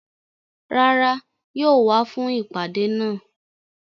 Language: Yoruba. Rárá, yóò wá fún ìpàdé náà